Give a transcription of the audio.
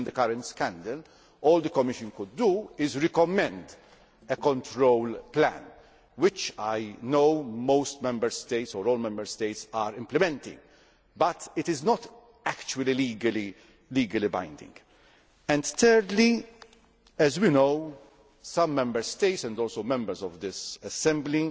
Even in the current scandal, all the Commission could do was recommend a control plan which I know most Member States or all Member States are implementing, but it is not actually legally binding. Thirdly, as we know, some Member States and also Members of this Assembly